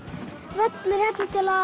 völlur hérna